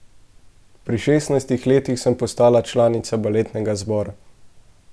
Pri šestnajstih letih sem postala članica baletnega zbora.